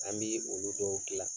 An bi olu dɔw dilan